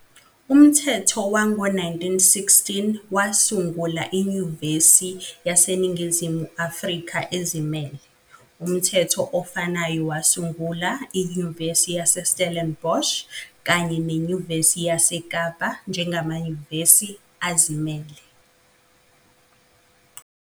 Umthetho wango-1916 wasungula iNyuvesi yaseNingizimu Afrika ezimele, umthetho ofanayo wasungula iNyuvesi yaseStellenbosch kanye neNyuvesi yaseKapa njengamanyuvesi azimele.